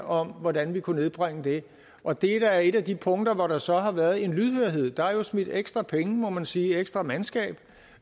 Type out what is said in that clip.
om hvordan vi kunne nedbringe det og det er da et af de punkter hvor der så har været en lydhørhed der er da smidt ekstra penge må man sige og ekstra mandskab